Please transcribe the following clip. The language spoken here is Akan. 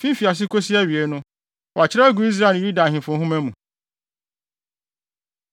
fi mfiase kosi awiei no, wɔakyerɛw agu Israel ne Yuda Ahemfo Nhoma mu.